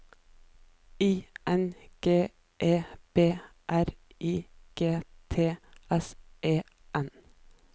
I N G E B R I G T S E N